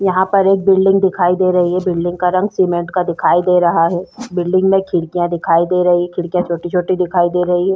यहाँ पर एक बिल्डिंग दिखाई दे रही है बिल्डिंग का रंग सीमेंट का दिखाई दे रहा है बिल्डिंग में खिड़िकयां दिखाई दे रही खिड़कियां छोटी छोटी दिखाई दे रही है।